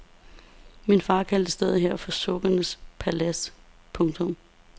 Min far kaldte stedet her for sukkenes palads. punktum